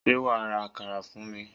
Sé wàá ra àkàrà fún mi?